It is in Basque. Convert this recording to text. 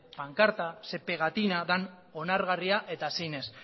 pankarta ze pegatina dan onargarria eta zein ez